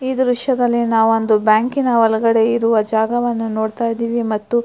ಈ ದೃಶ್ಯದಲ್ಲಿ ನಾವೊಂದು ಬ್ಯಾಂಕಿನ ಒಳಗಡೆ ಇರುವ ಒಂದು ಜಾಗವನ್ನು ನೋಡತಾಯಿದೀವಿ ಮತ್ತು --